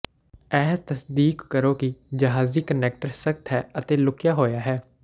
ਇਹ ਤਸਦੀਕ ਕਰੋ ਕਿ ਜਹਾਜ਼ੀ ਕਨੈਕਟਰ ਸਖ਼ਤ ਹੈ ਅਤੇ ਲੁਕਿਆ ਹੋਇਆ ਹੈ